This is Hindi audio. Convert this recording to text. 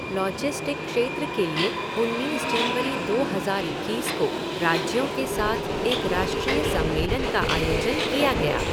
लॉजिस्टिक क्षेत्र के लिए उन्नीस जनवरी दो हज़ार इक्कीस को राज्यों के साथ एक राष्ट्रीय सम्मेलन का आयोजन किया गया।